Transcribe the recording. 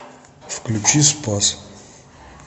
включи спас